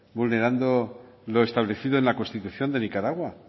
vulnerando lo establecido en la constitución de nicaragua